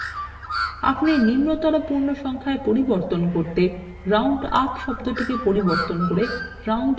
আপনি নিম্নতর পূর্ণ সংখ্যায় পরিবর্তন করতে roundআপ শব্দকে পরিবর্তন করে roundডাউন করুন